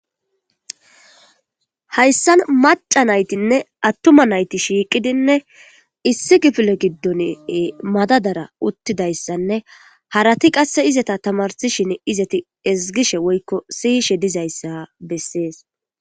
hayssan maca naytinne attuma nayti shiiqidinne issi gifile giddon madadara uttidayssanne harati qasse izata tamarsishin izati ezgishe woykko siyishe dizayssa bessees